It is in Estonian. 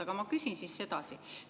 Aga ma küsin siis edasi.